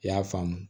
I y'a faamu